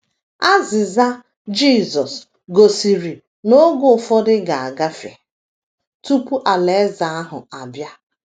Azịza Jisọs gosiri na oge ụfọdụ ga - agafe tupu Alaeze ahụ abịa.